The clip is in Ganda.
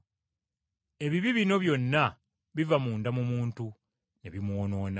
Ebibi bino byonna biva munda mu muntu ne bimwonoona.”